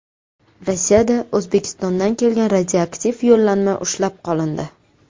Rossiyada O‘zbekistondan kelgan radioaktiv yo‘llanma ushlab qolindi.